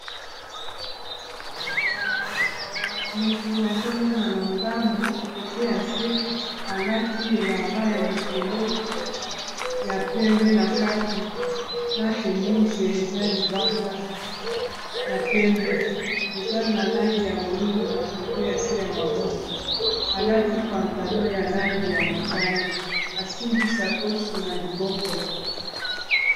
moto azomonana ndambo kote ya se alati elamba ya likolo ya pembe na kati na shemise eza libanda ya pembe eza na langi ya moindo na kote ya se ya maboko alati pantalo ya langi ya motane asimbisa coshe na liboko